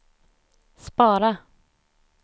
spara